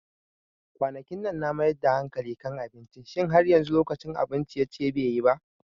Kwanakinnan na mayar da hankali kan abinci, Shin har yanzu lokacin abun ciye-ciye be yi ba?